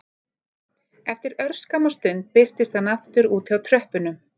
Eftir örskamma stund birtist hann aftur úti á tröppunum